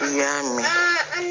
I y'a mɛn